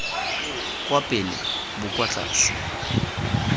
kwa pele bo kwa tlase